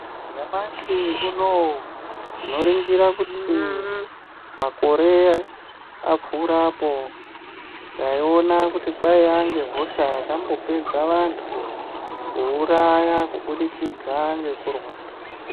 Nyamashi unowu tinoringira kuti makore apfuura apo taiona kuti kwaiya ngehosha yakambopedza vantu kuuraya kuburikidza ngekurwara .